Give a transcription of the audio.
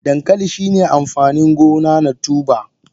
Dankali shine amfanin gona na tuber.